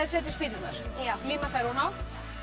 setja spýturnar já líma þær oná